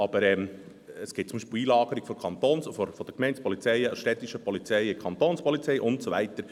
Aber es gibt zum Beispiel Einlagerungen von Kantons- und Gemeindepolizeien, städtischen Polizeien in Kantonspolizeien und so weiter.